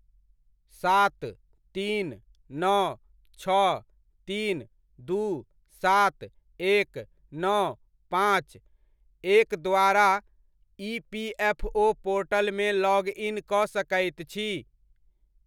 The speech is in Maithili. सात, तीन, नओ, छओ, तीन, दू, सात, एक, नओ, पाँच, एक द्वारा इपीएफओ पोर्टलमे लॉग इन कऽ सकैत छी?